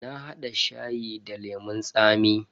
Na hada shayi da lemun tsami.